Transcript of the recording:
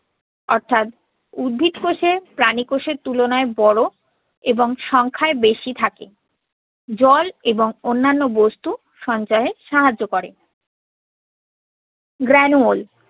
অর্থাৎ উদ্ভিদ কোষে প্রাণী কোষের তুলনায় বড় এবং সংখ্যায় বেশি থাকে। জল এবং অন্যান্য বস্তু সঞ্চয়ে সাহায্য করে। granule